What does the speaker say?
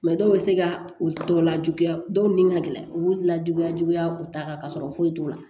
dɔw bɛ se ka u tɔ lajuguya dɔw ni ka gɛlɛn u b'u lajuguya juguya u ta kan ka sɔrɔ foyi t'o la